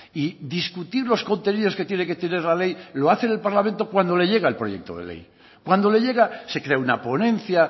y discutir los contenidos que tiene que tener la ley lo hace el parlamento cuando le llega el proyecto de ley cuando le llega se crea una ponencia